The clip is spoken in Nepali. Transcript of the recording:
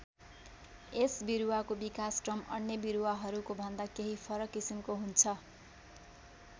यस बिरुवाको विकासक्रम अन्य बिरुवाहरूको भन्दा केही फरक किसिमको हुन्छ।